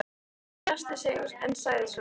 Pabbi ræskti sig en sagði svo